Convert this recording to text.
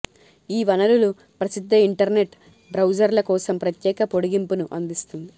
ఈ వనరులు ప్రసిద్ధ ఇంటర్నెట్ బ్రౌజర్ల కోసం ప్రత్యేక పొడిగింపును అందిస్తుంది